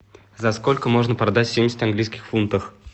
за сколько можно продать семьдесят английских фунтов